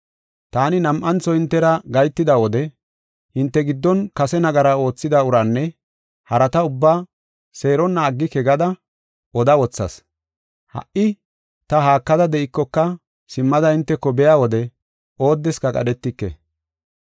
Taani nam7antho hintera gahetida wode hinte giddon kase nagara oothida uraanne harata ubbaa seeronna aggike gada oda wothas. Ha77i ta haakada de7ikoka simmada hinteko biya wode oodeska qadhetike.